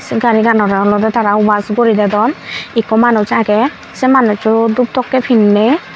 se gari ganore olede tara wash guri dodon ikko manuj agey se manucho dup tokkey pinney.